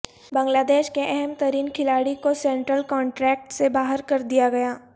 بنگلہ دیش کے اہم ترین کھلاڑی کو سینٹرل کنٹریکٹ سے باہر کردیا گیا